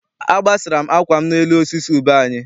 Agbasara m akwa m n'elu osisi ube anyị.